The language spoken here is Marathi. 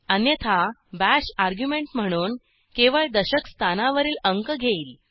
अन्यथा बाश अर्ग्युमेंट म्हणून केवळ दशक स्थानावरील अंक घेईल